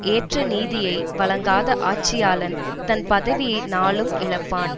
ஏற்ற நீதியை வழங்காத ஆட்சியாளன் தன் பதவியை நாளும் இழப்பான்